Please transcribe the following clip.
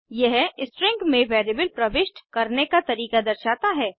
यह स्ट्रिंग में वेरिएबल प्रविष्ट करने का तरीका दर्शाता है